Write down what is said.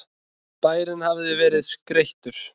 Bærinn hafði verið skreyttur.